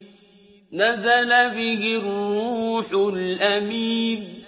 نَزَلَ بِهِ الرُّوحُ الْأَمِينُ